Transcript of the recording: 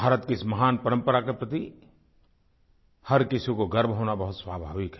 भारत के इस महान परम्परा के प्रति हर किसी को गर्व होना बहुत स्वाभाविक है